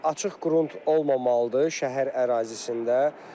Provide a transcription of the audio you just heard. Açıq qrund olmamalıdır şəhər ərazisində.